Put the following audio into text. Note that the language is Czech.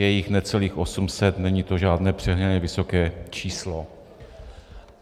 Je jich necelých 800, není to žádné přehnaně vysoké číslo.